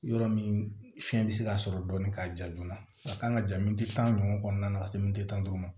Yɔrɔ min fiɲɛ bɛ se ka sɔrɔ dɔɔni k'a ja joona a kan ka ja min di tan ɲɔgɔnna ka se mint'o ma